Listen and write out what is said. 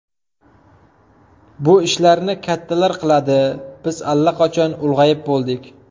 Bu ishlarni kattalar qiladi, biz allaqachon ulg‘ayib bo‘ldik.